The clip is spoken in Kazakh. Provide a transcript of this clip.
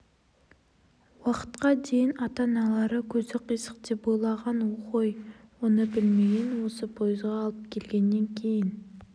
уақытқа дейін ата-аналары көзі қисық деп ойлаған ғой оны білмеген осы пойызға алып келгеннен кейін